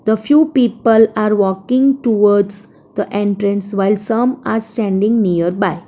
The few people are walking towards the entrance while some are standing near by --